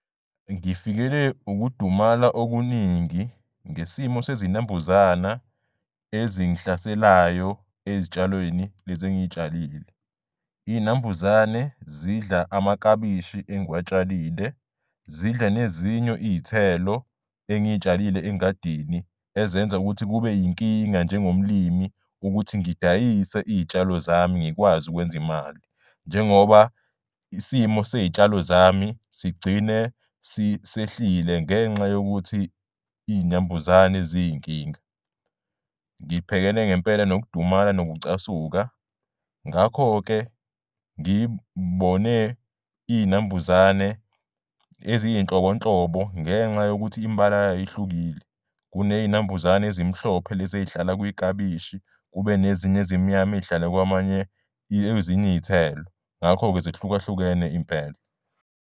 Ngifikele ukudumala okuningi ngesimo sezinambuzana ezingihlaselayo ezitshalweni lezi engiy'tshalile. Iy'nambuzane zidla amakabishi engiwatshalile, zidla nezinye iy'thelo engiy'tshalile engadini ezenza ukuthi kube yinkinga njengomlimi ukuthi ngidayise iy'tshalo zami ngikwazi ukwenza imali njengoba isimo sezitshalo zami sigcine sehlile ngenxa yokuthi iy'nambuzane ziy'nkinga. Ngibhekene ngempela nokudumala nokucasuka, ngakho-ke ngibone iy'nambuzane eziy'nhlobonhlobo ngenxa yokuthi imibala yay'ihlukile. Kuney'nambuzane ezimhlophe lezi ezihlala kwikabishi, kube nezinye ezimnyama ezihlala kwamanye kwezinye iy'thelo, ngakho-ke zihlukahlukene impela.